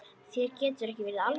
Þér getur ekki verið alvara.